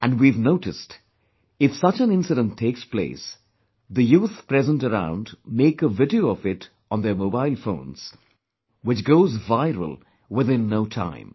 And we have noticed; if such an incident takes place, the youth present around make a video of it on their mobile phones, which goes viral within no time